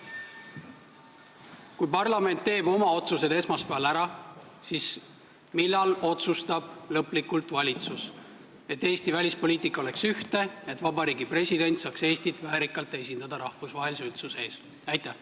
Kui parlament teeb oma otsused esmaspäeval ära, siis millal otsustab valitsus lõplikult, et Eesti välispoliitika oleks ühtne ja Vabariigi President saaks Eestit rahvusvahelise üldsuse ees väärikalt esindada?